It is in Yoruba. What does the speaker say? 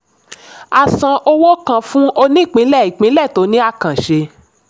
a san owó kan fún onípínlẹ̀-ìpínlẹ̀ tó ní àkànṣe.